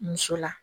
Muso la